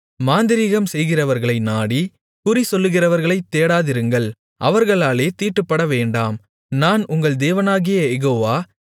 மாந்திரீகம் செய்கிறவர்களை நாடி குறிசொல்லுகிறவர்களைத் தேடாதிருங்கள் அவர்களாலே தீட்டுப்படவேண்டாம் நான் உங்கள் தேவனாகிய யெகோவா